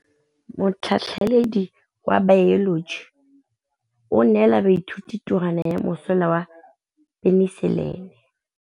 Motlhatlhaledi wa baeloji o neela baithuti tirwana ya mosola wa peniselene.